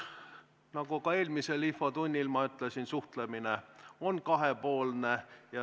Nagu ma ka eelmises infotunnis ütlesin, suhtlemine on kahepoolne.